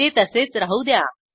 ते तसेच राहू द्या